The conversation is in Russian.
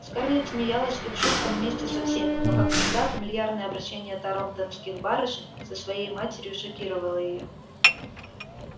скарлетт смеялась их шуткам вместе со всеми но как всегда фамильярное обращение тарлтонских барышень со своей матерью шокировало её